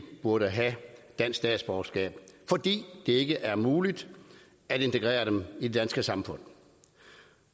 burde have dansk statsborgerskab fordi det ikke er muligt at integrere dem i det danske samfund